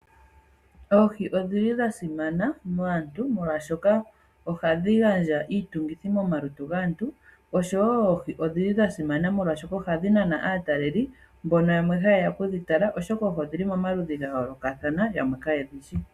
Oohi odhili dhasimana kaantu molwashoka ohadhi gandja iitungithi momalutu gaantu, osho wo oohi odhili dhasimana molwashoka ohadhi nana aataleli mbono yamwe hayeya okudhi tala oshoka oohi odhili momaludhi gayoolokathana yamwe kayedhityi.